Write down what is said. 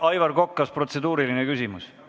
Aivak Kokk, kas protseduuriline küsimus?